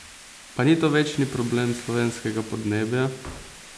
Pa ni to večni problem slovenskega podnebja?